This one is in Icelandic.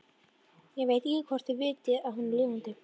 Ég veit ekki hvort þeir vita að hún er lifandi.